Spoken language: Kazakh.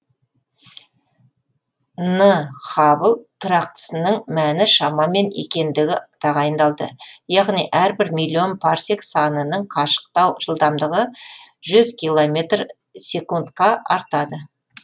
н хаббл тұрақтысының мәні шамамен екендігі тағайындалды яғни әрбір миллион парсек санының қашықтау жылдамдығы жүз километр секундқа артады